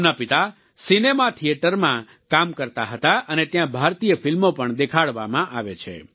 તેમના પિતા સિનેમા થિયેટરમાં કામ કરતા હતા અને ત્યાં ભારતીય ફિલ્મો પણ દેખાડવામાં આવે છે